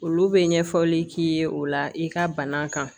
Olu bɛ ɲɛfɔli k'i ye o la i ka bana kan